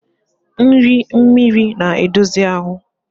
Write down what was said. Nri mmiri na-edozi ahụ.